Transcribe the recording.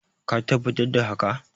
ka tabbatar da haka?